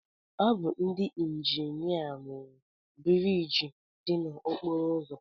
Ọ bụ ndị injinia rụrụ biriiji dị n'okporo ụzọ